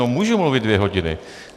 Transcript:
No, můžu mluvit dvě hodiny.